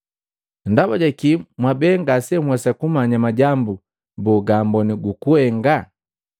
“Ndaba ja kii mwa bee ngasenhwesa kumanya majambu boo gaamboni gukuhenga?